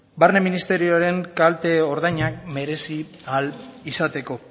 barne ministerioaren kalte ordainak merezi ahal izateko